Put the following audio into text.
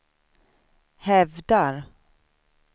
hävdar